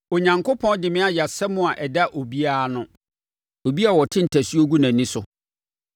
“Onyankopɔn de me ayɛ asɛm a ɛda obiara ano, obi a wɔte ntasuo gu nʼani so.